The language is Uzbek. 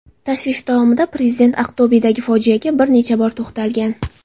Tashrif davomida Prezident Aqto‘bedagi fojiaga bir necha bor to‘xtalgan.